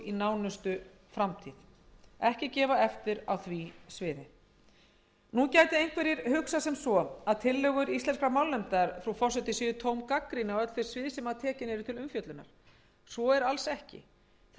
íslensku í nánustu framtíð nú gætu einhverjir hugsað sem svo að tillögur íslenskrar málnefndar séu tóm gagnrýni á öll þau svið sem tekin eru til umfjöllunar svo er alls ekki þar er